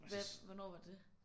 Hvad hvornår var det?